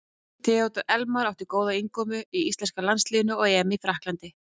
Theodór Elmar átti góða innkomu í íslenska landsliðið á EM í Frakklandi.